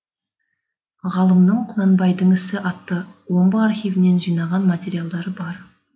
ғалымның құнанбайдың ісі атты омбы архивінен жинаған материалдары бар